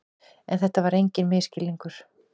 En þetta var enginn misskilningur.